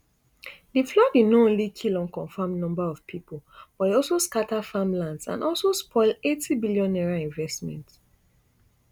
di flooding no only kill unconfirmed number of pipo but e also scata farmlands and also spoil eighty billion naira investment